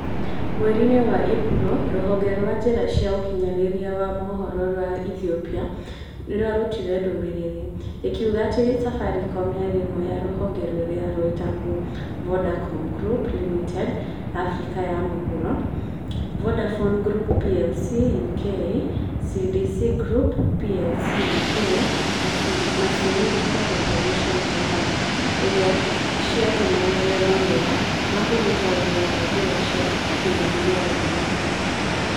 Mweri-inĩ wa Ĩpuro, rũhonge rwa njĩra cia ũkinyanĩria wa mohoro rwa Ethiopia nĩ rwarutire ndumiriri. ĩkiuga ati Safaricom yari imwe ya rũhonge rũrĩa rwĩtagwo Vodacom Group Ltd (Afrika ya Mũhuro). Vodafone Group Plc (UK), CDC Group Plc (UK) na Sumitomo Corporation (Japan). Irĩa ciatũmanĩire marua ma kũruta wĩra wa njĩra cia ũkinyanĩria wa mohoro.